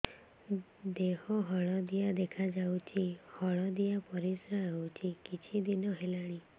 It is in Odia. ଦେହ ହଳଦିଆ ଦେଖାଯାଉଛି ହଳଦିଆ ପରିଶ୍ରା ହେଉଛି କିଛିଦିନ ହେଲାଣି